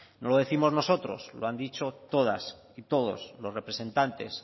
no lo décimos nosotros lo han dicho todas y todos los representantes